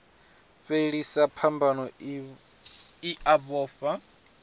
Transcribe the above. fhelisa phambano i a vhofha